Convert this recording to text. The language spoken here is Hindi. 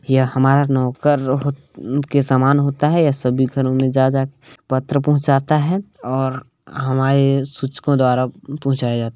यह हमर नोकर होत के समान होता है यह सभी घरों मे जा जाके पत्र पहुचाता है और हमारे सूचकों द्वारा पहुंचाया जाता--